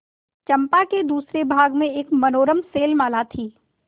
चंपा के दूसरे भाग में एक मनोरम शैलमाला थी